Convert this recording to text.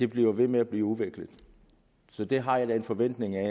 bliver ved med at blive udviklet så det har jeg da en forventning